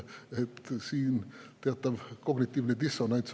Siin on teatav kognitiivne dissonants.